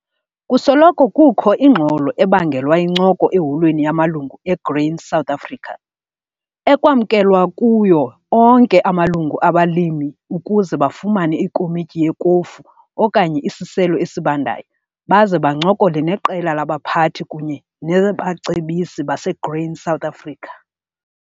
Kusoloko kukho ingxolo ebangelwa yincoko eholweni yamaLungu eGrain SA, ekwamkelwa kuyo onke amalungu abalimi ukuze bafumane ikomityi yekofu okanye isiselo esibandayo baze bancokole neqela labaphathi kunye nabacebisi baseGrain SA.